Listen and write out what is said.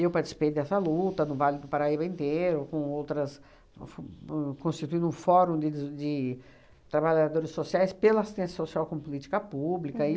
participei dessa luta no Vale do Paraíba inteiro, com outras, fu fu bo constituindo um fórum de des de trabalhadores sociais pela assistência social com política pública.